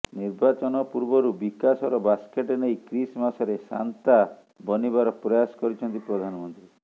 ନିର୍ବାଚନ ପୂର୍ବରୁ ବିକାଶର ବାସ୍କେଟ ନେଇ କ୍ରିସ୍ ମାସରେ ସାନ୍ତା ବନିବାର ପ୍ରୟାସ କରିଛନ୍ତି ପ୍ରଧାନମନ୍ତ୍ରୀ